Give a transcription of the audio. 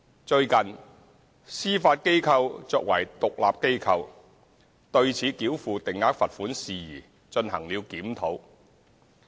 最近，司法機構作為獨立機構，對此繳付定額罰款事宜進行了檢討。